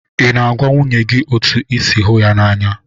Ị na-agwa nwunye gị otú ị si hụ ya n'anya?